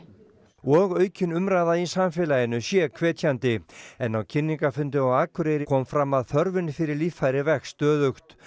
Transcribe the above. og aukin umræða í samfélaginu sé hvetjandi en á kynningarfundi á Akureyri kom fram að þörfin fyrir líffæri vex stöðugt